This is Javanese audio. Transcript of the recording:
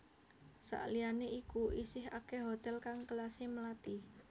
Sakliyane iku isih akeh hotel kang kelase melati